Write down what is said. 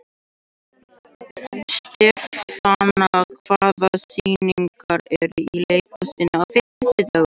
Stefana, hvaða sýningar eru í leikhúsinu á fimmtudaginn?